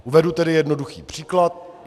Uvedu tedy jednoduchý příklad.